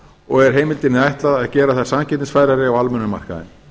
og er heimildinni ætlað að gera þær samkeppnisfærari á almennum markaði